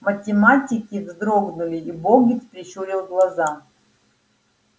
математики вздрогнули и богерт прищурил глаза